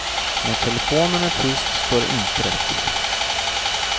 När telefonen är tyst står det inte rätt till.